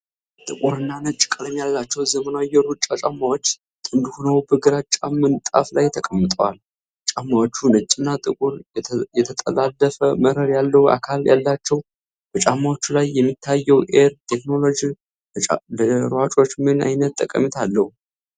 ጥቁርና ነጭ ቀለም ያላቸው ዘመናዊ የሩጫ ጫማዎች ጥንድ ሆነው በግራጫ ምንጣፍ ላይ ተቀምጠዋል። ጫማዎቹ ነጭና ጥቁር የተጠላለፈ መረብ ያለው አካል ያላቸው ፡፡በጫማዎቹ ላይ የሚታየው "Air" ቴክኖሎጂ ለሯጮች ምን ዓይነት ጠቀሜታ አለው?